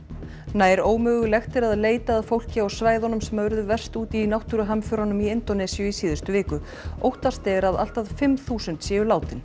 nær ómögulegt er að leita að fólki á svæðunum sem urðu verst úti í náttúruhamförunum í Indónesíu í síðustu viku óttast er að allt að fimm þúsund séu látin